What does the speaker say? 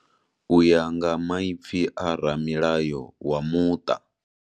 Uya nga maipfi a ramilayo wa muṱa.